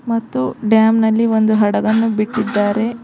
ಮತ್ತು ಡ್ಯಾಮ್ ನಲ್ಲಿ ಒಂದು ಹಡಗನ್ನು ಬಿಟ್ಟಿದ್ದಾರೆ.